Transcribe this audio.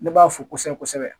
Ne b'a fo kosɛbɛ kosɛbɛ